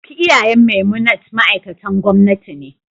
Duk iyayen Memunant ma'aikatan gwamnati ne